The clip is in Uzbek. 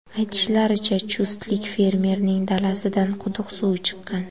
Aytishlaricha, chustlik fermerning dalasidan quduq suvi chiqqan .